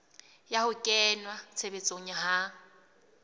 ya ho kenngwa tshebetsong ha